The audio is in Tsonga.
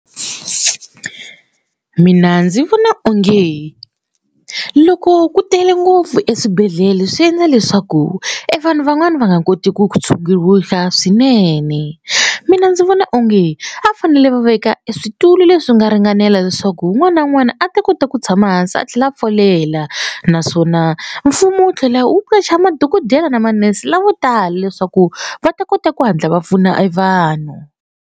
Mina ndzi vona onge loko ku tele ngopfu eswibedhlele swi endla leswaku e vanhu van'wani va nga koti ku swinene. Mina ndzi vona onge a fanele va veka e switulu leswi nga ringanela leswaku un'wana na un'wana a ta kota ku tshama hansi a tlhela a folela naswona mfumo wu tlhela wu qacha madokodela ni ma-nurse lavo tala leswaku va ta kota ku hatla va pfuna evanhu.